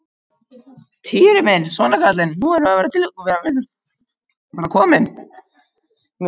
Týri minn, svona kallinn, nú erum við að verða komin.